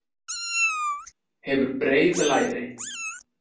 Hefur breið læri.